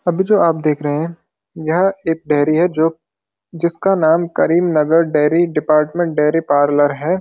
अभी जो आप देख रहे हैं यह एक डेरी है जो जिसका नाम Karimnagar dairy department dairy parlour है।